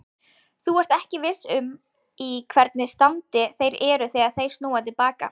Þú ert ekki viss um í hvernig standi þeir eru þegar þeir snúa til baka.